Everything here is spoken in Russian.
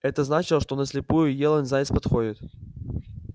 это значило что на слепую елань заяц подходит